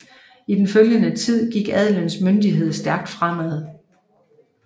I den følgende tid gik adelens myndighed stærkt fremad